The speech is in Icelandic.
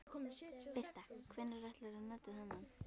Birta: Hvenær ætlar þú að nota þennan?